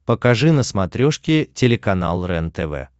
покажи на смотрешке телеканал рентв